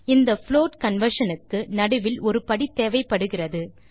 இந்த float conversion க்கு நடுவில் ஒரு படி தேவைப்படுகிறது